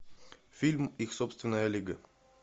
фильм их собственная лига